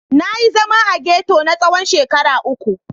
Na yi zama a ghetto na tsawon shekara uku.